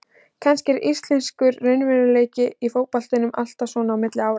Kannski er íslenskur raunveruleiki í fótboltanum alltaf svona á milli ára.